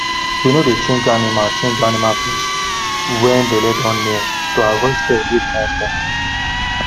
we no dey change animal change animal place when belle don near to avoid stress when they wan born